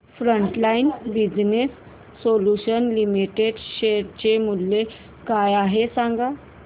frontline business solutions limited share चे मूल्य काय आहे हे सांगा